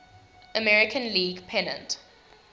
american league pennant